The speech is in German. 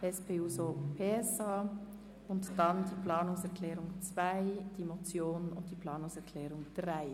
Danach folgen die Planungserklärung 2, die Motion und die Planungserklärung 3.